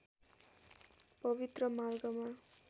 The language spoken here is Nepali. पवित्र मार्गमा